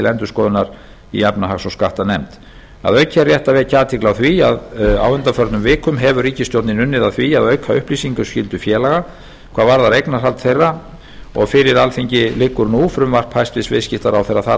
endurskoðunar í efnahags og skattanefnd að auki er rétt að vekja athygli á því að á undanförnum vikum hefur ríkisstjórnin unnið að því að auka upplýsingaskyldu félaga hvað varðar eignarhald þeirra og fyrir alþingi liggur frumvarp hæstvirtur viðskiptaráðherra þar að